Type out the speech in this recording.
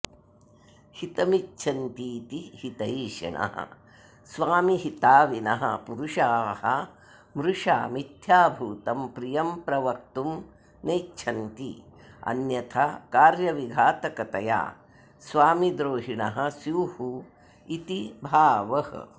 हितमिच्छन्तीति हितैषिणः स्वामिहिताविनः पुरुषाः मृषा मिथ्याभूतं प्रियं प्रवक्तुं नेच्छन्ति अन्यथा कार्यविघातकतया स्वामिद्रोहिणः स्युरिति भावः